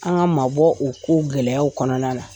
K'an ka maa bɔ u ko gɛlɛyaw kɔnɔna la.